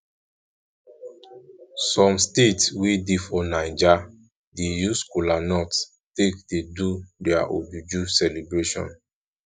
som state wey dey for naija dey use kolanut take dey do dia ojuju celebration